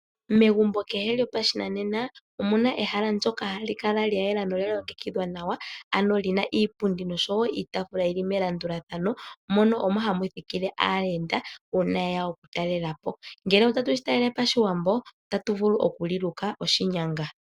Megumbo kehe lyopashinanena omuna ehala ndjoka hali kala lya yela nolya longekidhwa nawa , ano lina iipundi nosho wo iitaafula yili melandulathano mono omo hamu thikile aayenda uuna yeya oku talelapo. Ngele otatu shi talele pashiwambo otatu vulu oku li luka oshinyanga.